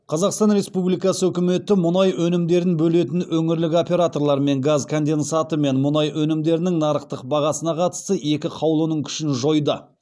қазақстан республикасы үкіметі мұнай өнімдерін бөлетін өңірлік операторлар мен газ конденсаты мен мұнай өнімдерінің нарықтық бағасына қатысты екі қаулының күшін жойды